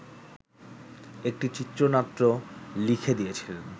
একটি চিত্রনাট্য লিখে দিয়েছিলেন